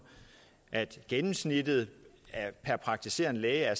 at gennemsnittet per praktiserende læge er